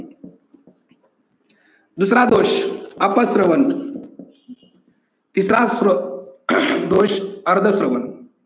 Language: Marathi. दुसरा दोष अपश्रवण. तिसरा दोष अर्धश्रवण.